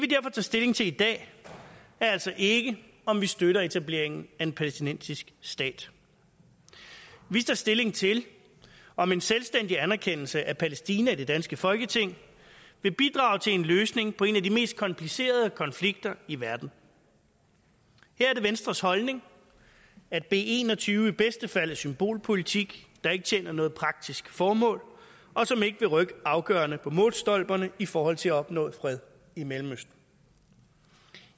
tager stilling til i dag er altså ikke om vi støtter etableringen af en palæstinensisk stat vi tager stilling til om en selvstændig anerkendelse af palæstina i det danske folketing vil bidrage til en løsning på en af de mest komplicerede konflikter i verden her er det venstres holdning at b en og tyve i bedste fald er symbolpolitik der ikke tjener noget praktisk formål og som ikke vil rykke afgørende på målstolperne i forhold til at opnå fred i mellemøsten